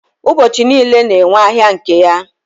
ụbọchi niile na-enwe ahịa nke ya